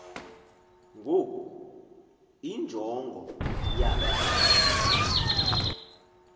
ngoku injongo yaloo